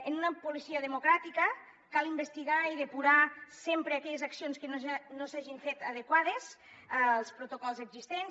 en una policia democràtica cal investigar i depurar sempre aquelles accions que no s’hagin fet adequades als protocols existents